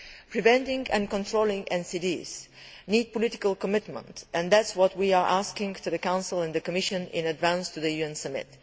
Preventing and controlling NCDs needs political commitment and that is what we are asking of the Council and the Commission in advance of the UN summit.